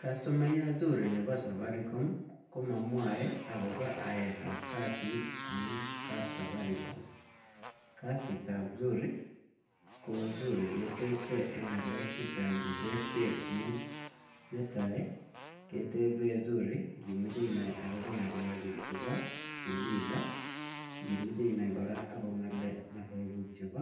Kastomayat zuri nebo safaricom, komamwae akobo aet ap kasit eng kap safaricom. Kasit ap zuri, ko zuri ketepte eng ng'alek chechang che terterchin. Netai, ketebe zuri ngimeche inai akobo ng'alek kuk chebo fuliza. Yeimeche inai kora ako ng'ale-ng'alek kuuk chebo